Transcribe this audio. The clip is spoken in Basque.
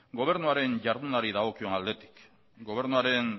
gobernuaren ihardunari dagokion aldetik gobernuaren